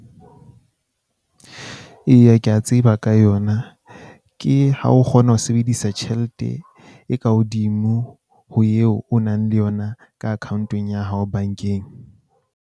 Eya, ke ya tseba ka yona. Ke ha o kgona ho sebedisa tjhelete e ka hodimo ho eo o nang le yona ka account-ong ya hao bank-eng.